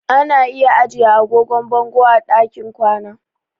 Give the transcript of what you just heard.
Ana iya ajiye agogon bango a ɗakin kwana.